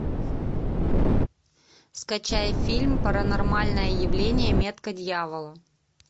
скачай фильм паранормальное явление метка дьявола